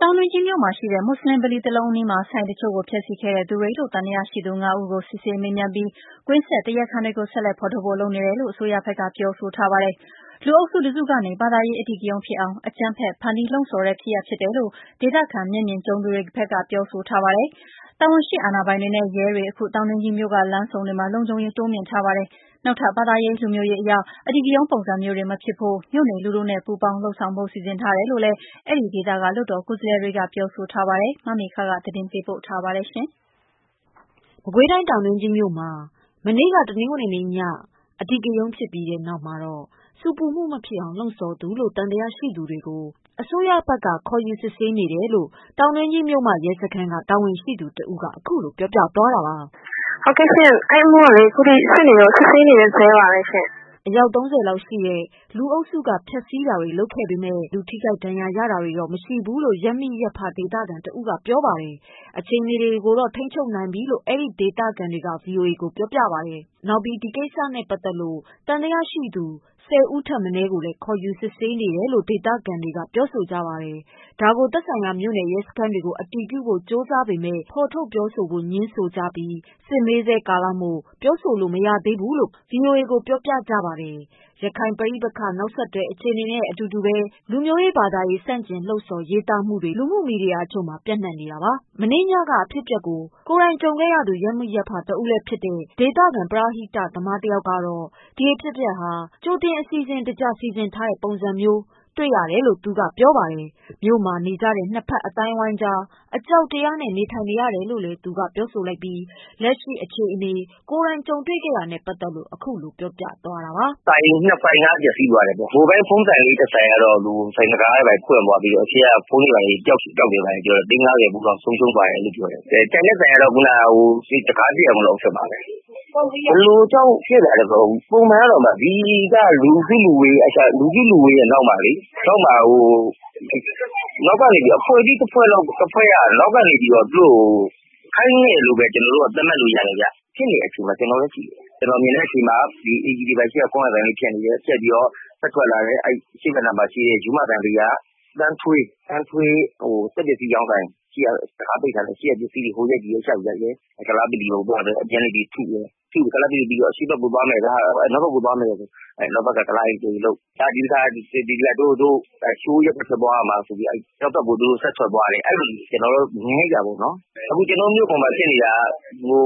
တောင်တွင်းကြီးမြို့မှာရှိတဲ့ မွတ်ဆလင်ဗလီတခုအနီးမှာ ဆိုင်အချို့ကို ဖျက်ဆီးခဲ့တဲ့သူတွေလို့ သံသယရှိသူ ပေါင်း ၅ဦးကို စစ်ဆေးမေးမြန်းပြီး ကွင်းဆက် တရားခံတွေကို ဆက်လက်ဖော်ထုတ်ဖို့ လုပ်နေတယ်လို့ အစိုးရဘက်ကတာဝန်ရှိသူတွေက ပြောပါတယ်။ တနင်္ဂနွေနေ့က အခင်းဖြစ်မှုဟာ လူအုပ်စုတစုကနေ ဘာသာရေးအဓိကရုဏ်း ဖြစ်အောင် အကြမ်းဖက် ဖန်တီးလှုံ့ဆော်တဲ့အနေအထားတွေတွေ့ရတယ်လို့ ဒေသခံမျက်မြင်ကြုံသူတွေဘက်က ပြောဆိုပါတယ်။ ရဲတွေနဲ့ လုံခြုံရေးတာဝန်ရှိသူတွေက တောင်တွင်းကြီးဘက်မှာ လုံခြုံရေးတိုးမြင့်ပေးထားပြီး နောက်ထပ် ဘာသာရေး လူမျိုးရေးအဓိကရုဏ်းပုံစံမျိုးတွေမဖြစ်ဖို့မြို့နေ လူထုနဲ့ပူးပေါင်းလုပ်ဆောင်ဖို့ စီစဉ် နေကြပါတယ်။ ဒီသတင်းတွေကို ဗွီအိုအေ သတင်းဌာနကမေခ ပေးပို့ထားတာပါ။ မကွေးတိုင်း တောင်တွင်းကြီးမြို့ မှာ မနေ့တနင်္ဂနွေညကအဓိကရုန်းဖြစ်ပြီးတဲ့နောက် ဆူပူမှုဖြစ်အောင်လှုံ့ဆော်သူလို့ သံသယရှိသူတွေကို စစ်နေဆဲဖြစ်တယ် လို့ တောင်းတွင်းကြီးမြို့မရဲစခန်းက တာဝန်ရှိသူကပြောပါတယ်။ “ဟုတ်ကဲ့ရှင့် အဲဒီအမူကလေ အခုထိ စစ်ဆေးနေတုန်း၊ စစ်ဆေးနေစဲပါပဲရှင့်။” အယောက် ၃၀လောက်ရှိတဲ့ လူအုပ်စုတစုက ဖျက်ဆီးတာတွေ လုပ်ခဲ့ပေမယ့် လူ ထိခိုက်ဒဏ်ရာရမှုတွေတော့ မရှိခဲ့ဘူးလို့ ရပ်မိရပ်ဖဒေသ ခံတဦးကပြောပါတယ်။ အခြေအနေကိုတော့ ထိန်းချုပ်နိုင်ပြီလို့ အဲဒီ ဒေသခံတွေက ဗွီအိုအေကို ပြောပါတယ်။ နောက်ဒီကိစ္စနဲ့ပတ်သတ်လို့ သံသယရှိသူ ၁၀ဦးထက်မနည်းကို ခေါ်ယူစစ်ဆေးနေတယ်လို့ ဒေသခံ တွေကပြောဆိုကြပါတယ်။ ဒါကို သက်ဆိုင်ရာမြို့နယ်ရဲစခန်းတွေကို အတည်ပြုဖို့ကြိုးစားပေမယ့် ဖော်ထုတ် ပြောဖို့ငြင်း ဆိုကြပြီး စစ်မေးဆဲကာလမို့ ပြောဆိုဖို့ မရသေးကြောင်းဗွီအိုအေကို ပြောပါတယ်။ ရခိုင်ပဋိပက္ခနောက်ဆက်တွဲအခြေအနေနဲ့အတူပဲ၊ လူမျိုးရေး ဘာသာရေးဆန့်ကျင်လှုံ့ဆော်ရေးသားမှုတွေ လူမှုမီဒီယာအချို့မှာ ပြန့်နှံနေတာပါ။ မနေ့ညကအဖြစ်အပျက်ကို ကိုယ်တိုင်ကြုံသူ ရပ်မိရပ်ဖတဦးလည်းဖြစ်တဲ့ ဒေသခံပရဟိတသမားတယောက်ကတော့ ဒီအဖြစ်အပျက်ဟာ ကြိုတင်အစီစဉ်တ ကျစီစဉ်ထားတဲ့ပုံစံမျိုး တွေ့ရတယ်လို့ပြောပါတယ်။ မြို့မှာနေကြတဲ့ ၂ဖက်အသိုင်းအဝိုင်းအကြား အကြောက်တရားနဲ့ နေထိုင်နေရတယ်လို့လည်းပြောဆို လိုက်ပြီး လက်ရှိအခြေအနေ၊ ကိုယ်တိုင်တွေ့ကြုံတာတွေနဲ့ပတ်သတ်လို့ ခုလိုပြောပြသွားတာပါ။ “၂ ဆိုင်ကတော့ ပျက်စီးသွားတယ်ပေါ့ မိုဘိုင်းဖုန်းဆိုင်လေးကတော့ ဆိုင်တံခါးတွေပွင့်ပြီးတော့ အရှေ့က ဖုန်းတွေဘာတွေ ပြောက်တယ်လို့ပြောတယ်ပေါ့။ သိန်း ၅၀ ဖိုးလောက်ဆုံးရှုံးသွားတယ်လို့ပြောတယ်။ ကျန်တဲ့ဆိုင်ကတော့ တံခါးပျက်သွားတယ်။ ဘယ်လိုကြောင့်ဖြစ်သလဲဆိုတော့ ပုံမှန်ကတော့အမ ဒီမှာ လူစုလူဝေးရဲ့နောက်မှာ အဖွဲ့အစည်းတဖွဲ့က နောက်ကနေပြီးတော့ ခိုင်းတယ်လို့ ကျနော်တို့ သတ်မှတ်လို့ရတယ်။ ဖြစ်နေတဲ့အချိန်မှာ ကျနော်လည်းရှိတယ်။ ကျနော်မြင်တာကတော့ KTV ရှေ့က ကွမ်းယာဆိုင်လေးမှာ ဖြစ်နေတယ် ပြီးတော့ ထွက်လာတယ်၊ ရိုးမဘဏ်ဘေးက သန်းထွေးစက်ပစ္စည်းဆိုင် တံခါးပိတ်ထားတယ်ဆိုတော့ အရှေ့က ပစ္စည်းတွေကို ဟိုရိုက်ဒီရောက်လုပ်တယ် ပြီးတော့ ကုလားဗလီကိုသွားတယ်၊ ကုလားဗလီပြီးတော့ အရှေ့ဘက်သွားမယ်ဆိုပြီး နောက်ဒီတခါ အနောက်ရပ်ကွက်ကိုသွားမယ်ဆိုပြီးတော့ သူတို့ဆက်ထွက်သွားတယ်။ အဲလိုကျနော်တို့မြင်လိုက်တာပေါ့နော်။ ကျနော်တို့မြို့မှာ ဖြစ်နေတာ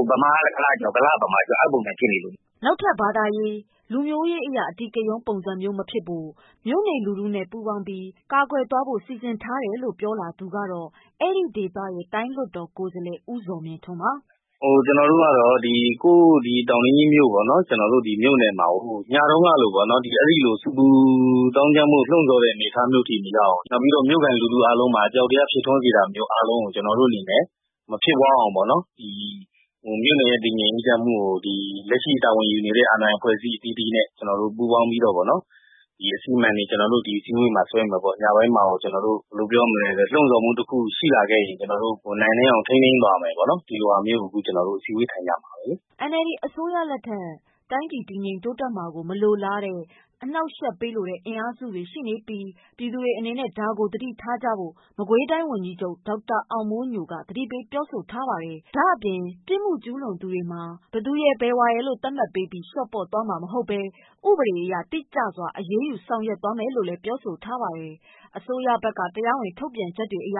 က ဗမာက ကုလားကြောက်၊ ကုလားက ဗမာကြောက် အဲလိုပုံစံဖြစ်နေပြီ။” နောက်ထပ် ဘာသာရေး လူမျိုးရေးအရ အဓိကရုဏ်းပုံစံမျိုးတွေမဖြစ်ဖို့မြို့နေလူထုနဲ့ပူးပေါင်းလုပ်ဆောင်ဖို့ စီစဉ် ထားတယ်လို့ပြောလာသူက အဲဒီဒေသရဲ့ တိုင်းလွှတ်တော်ကိုယ်စားလှယ် ဦးဇော်မြင့်ထွန်းပါ။ “ကျနော်တို့ကတော့ ကိုယ့်တောင်တွင်းကြီးမြို့ပေါ့နော် ကျနော်တို့မြို့နယ်မှာကို ညတုန်းကလို အဲဒီလို ဆူပူသောင်းကျန်းမှု လှုံ့ဆော်တဲ့အနေအထားအထိမရောက်အောင် နောက်ပြီးတော့ မြို့ခံလူထုအားလုံးမှာ အကြောက်တရားဖြစ်ထွန်းစေတာမျိုးအားလုံးကို ကျနော်တို့အနေနဲ့ မဖြစ်ပွားအောင်ပေါ့နော် ဒီမြို့နယ်ရဲ့ တည်ငြိမ်အေးချမ်းမှု လက်ရှိတာဝန်ယူနေတဲ့ အာဏာပိုင်အဖွဲ့အစည်းအသီးသီးနဲ့ ကျနော်တို့ ပူးပေါင်းပြီးတော့ပေါ့နော် ဒီအစီအမံတွေ ကျနေ်ာတို့ ဒီအစည်းအဝေးမှာဆွဲမယ်ပေါ့နော်။ ညပိုင်းမှာ လှုံ့ဆော်မှုတခုရှိလာခဲ့ရင် ကျနော်တို့ နိုင်နင်းအောင်ထိန်းသိမ်းသွားမယ်ပေါ့နော် ဒီလိုဟာမျိုးကို ကျနော်တို့ အစည်းအဝေးထိုင်ကြမှာလေ။” NLD အစိုးရလက်ထက် တိုင်းပြည်တည်ငြိမ်တိုးတက်မှာကို မလိုလား အနှောင့်အယှက်ပေးလိုတဲ့ အင်အားစုတွေရှိနေပြီး ပြည်သူတွေအနေနဲ့ သတိထားကြဖို့ မကွေးတိုင်း ဝန်ကြီးချုပ် ဒေါက်တာအောင်မိုးညိုကသတိပေးပြောဆိုထားသလို ဘယ်သူရယ် ဘယ်ဝါရယ် ပြစ်မှုကျူးလွန်တယ်ဆိုပြီးလျော့ပေါ့မှာမဟုတ်ဘဲ ဥပဒေအရ တိကျစွာအရေးယူမယ်လို့ ပြောဆိုထားပါတယ်။ အစိုးရဘက်က တရားဝင်ထုတ်ပြန်ထားချက်အရ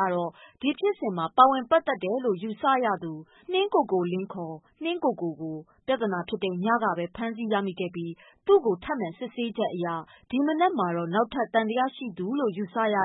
ဖြစ်စဉ်မှာ ပါဝင်ပတ်သက်တယ်လို့ ယူဆရသူ နှင်းကိုကိုလင်း (ခေါ်) နှင်းကိုကို ကို ပြဿနာဖြစ်တဲ့ ညက ဖမ်းဆီးရမိ ခဲ့ပြီးသူ့ကိုစစ်မေးချက်အရ ဒီမနက်မှာတော့ နောက်ထပ်သံသရရှိသူလို့ ယူဆရတ